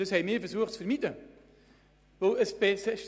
Das haben wir zu vermeiden versucht.